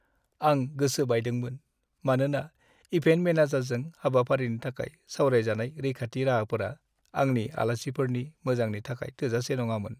आं गोसो बायदोंमोन मानोना इभेन्ट मेनेजारजों हाबाफारिनि थाखाय सावरायजानाय रैखाथि राहाफोरा आंनि आलासिफोरनि मोजांनि थाखाय थोजासे नङामोन।